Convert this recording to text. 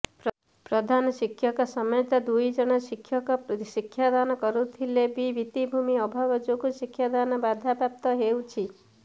ପ୍ରଧାନ ଶିକ୍ଷକଙ୍କ ସମେତ ଦୁଇଜଣ ଶିକ୍ଷକ ଶିକ୍ଷାଦାନ କରୁଥିଲେ ବି ଭିତ୍ତିଭୂମି ଅଭାବ ଯୋଗୁଁ ଶିକ୍ଷାଦାନ ବାଧାପ୍ରାପ୍ତ ହେଉଛି